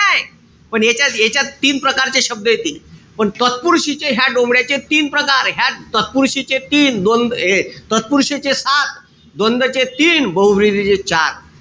पण यांच्यात याच्यात तीन प्रकारचे शब्द येते. पण तत्पुरुषीचे ह्या डोमड्याचे तीन प्रकार. ह्या तत्पुरुषीचे तीन. द तत्पुरुषीचे सात. द्वंदचे तीन. बहूव्रीहीचे चार.